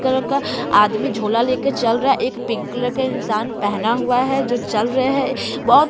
colour का आदमी झोला ले के चल रहा है एक पिंक कलर का इंसान पहना हुआ है जो चल रहे हैं बोहो --